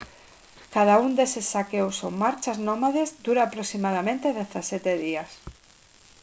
cada un deses saqueos ou marchas nómades dura aproximadamente 17 días